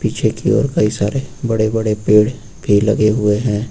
पीछे के ओर कई सारे बड़े बड़े पेड़ भी लगे हुए हैं।